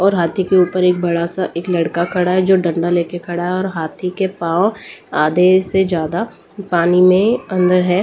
और हाथी के ऊपर एक बड़ा सा एक लड़का खड़ा है जो डंडा लेके खड़ा है और हाथी के पांव आधे से ज्यादा पानी में है।